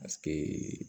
Paseke